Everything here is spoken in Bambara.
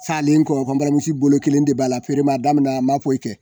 Salen kɔ n barimuso bolo kelen de b'a la feere ma daminɛ an b'a fɔ i kɛ